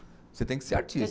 Você tem que ser artista.